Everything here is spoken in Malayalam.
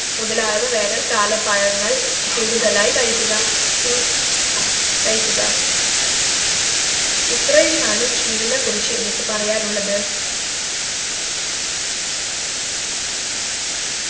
മുതലായവ വേനൽക്കാല പഴങ്ങൾ കൂടുതലായി കഴിക്കുക ചൂ കഴിക്കുക ഇത്രയുമാണ് ചൂടിനെകുറിച്ചു എനിക്ക് പറയാനുള്ളത്